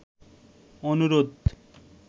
অনুরোধ